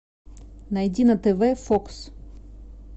найди на тв фокс